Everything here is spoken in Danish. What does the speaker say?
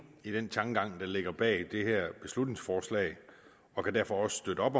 i den tankegang der ligger bag det her beslutningsforslag og kan derfor også støtte